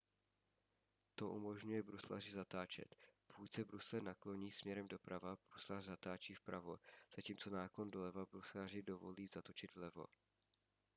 to umožňuje bruslaři zatáčet pokud se brusle nakloní směrem doprava bruslař zatáčí vpravo zatímco náklon doleva bruslaři dovolí zatočit vlevo